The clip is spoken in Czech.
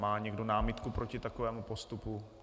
Má někdo námitku proti takovému postupu?